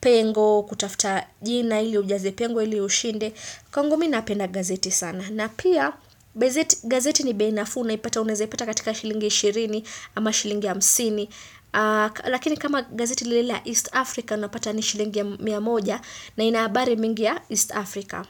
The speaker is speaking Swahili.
pengo kutafuta jina ili ujaze pengo ili ushinde, kwangu mimi napenda gazeti sana, na pia gazeti ni bei nafuu unaeza ipata katika shilingi ishirini ama shilingi hamsini, lakini kama gazeti nile la East Africa unapata ni shilingi ya miya moja na ina habari mingi ya East Africa.